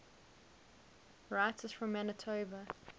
writers from manitoba